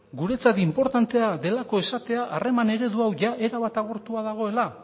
guretzat inportantea delako esatea harreman eredu hau jada erabat agortua dagoela